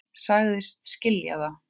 Sagðist skilja það.